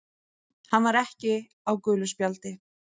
Hann var ekki á gulu spjaldi.